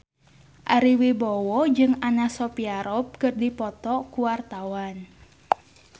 Ari Wibowo jeung Anna Sophia Robb keur dipoto ku wartawan